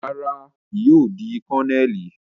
Rara, kii yóò di Kononeli